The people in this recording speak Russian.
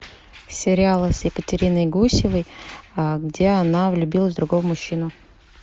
сериал с екатериной гусевой где она влюбилась в другого мужчину